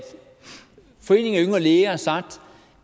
foreningen yngre læger har sagt